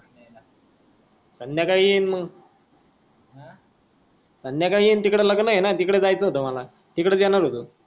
संघ्याकाळी येईन म हा संघ्याकाळी येईन तिकडं लग्न्न येना तिकड जायच होत मला तिकडच येणार होतो